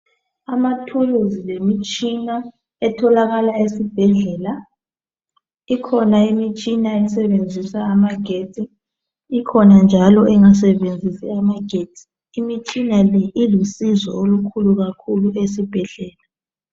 Amathuluzi lemitshina etholakala esibhedlela, ikhona imitshina esebenzisa amagetsi, ikhona njalo engasebenzisi amagetsi. Imitshina le ilusizo olukhulu kakhulu esibhedlela.